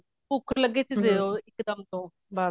ਭੁੱਖ ਲੱਗੀ ਤਾ ਦਿਓ ਇੱਕ ਦਮ ਉਹ ਬਾਹਰ